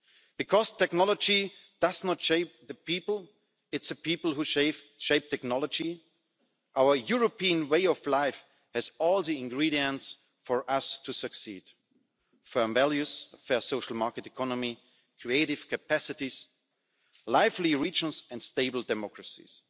Because technology does not shape the people it is the people who shape technology our European way of life has all the ingredients for us to succeed firm values, a fair social market economy, creative capacities, lively regions and stable democracies.